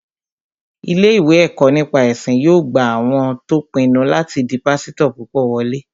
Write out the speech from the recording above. Ilé-ìwé ẹ̀kọ́ nípa ẹ̀sìn yóò gba àwọn tó pinnu láti di pásítọ̀ púpọ̀ wọlé